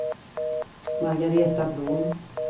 Margaretha Blom